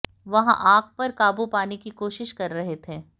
वहां आग पर काबू पाने की कोशिश कर रहे थे